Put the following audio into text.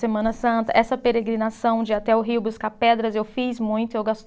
Semana Santa, essa peregrinação de ir até o rio buscar pedras, eu fiz muito, eu gosto